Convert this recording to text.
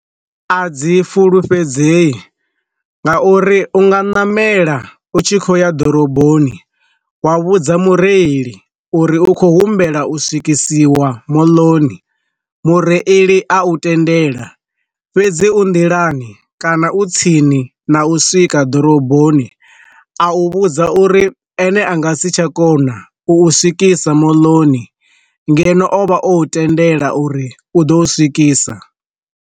A dzi fulufhedzei, nga uri u nga namela u tshi khoya ḓoroboni wa vhudza mureili uri u khou humbela u swikisiwa moḽoni mureili a u tendela, fhedzi u nḓilani kana u tsini na u swika ḓoroboni a u vhudza uri ene a nga si tsha kona u swikisa moḽoni ngeno ovha o tendelwa uri u ḓo swikisa.